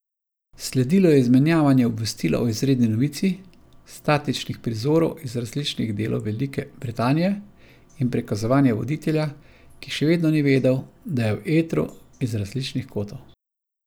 Sledilo je izmenjevanje obvestila o izredni novici, statičnih prizorov iz različnih delov Velike Britanije in prikazovanje voditelja, ki še vedno ni vedel, da je v etru, iz različnih kotov.